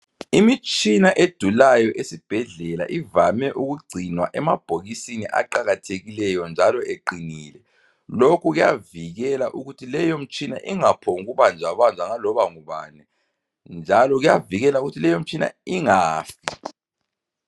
Imitshina edulayo esibhedlela ivame ikugcinwa emabhokisini eqakathekileyo njalo eqinile. Lokhu kuyavikela ukuthi imitshina leyo ingaphongubanjwabanjwa ngaloba ngubani. Njalo kuyavikela ukuthi leyo mitshina ingafi.